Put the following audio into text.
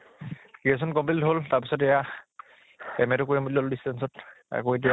graduation complete হʼল তাৰ পিছত এয়া । MA টো কৰিম বুলি ললো distance ত, আকৌ এতিয়া